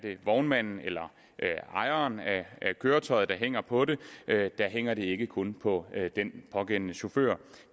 vognmanden eller ejeren af køretøjet der hænger på det der hænger det ikke kun på den pågældende chauffør